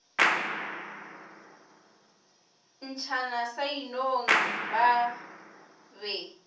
ntšhana sa inong ba be